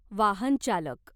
वाहनचालक